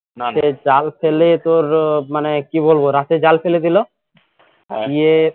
জাল ফেলে তোর মানে কি বলবো রাতে জাল ফেলে দিলো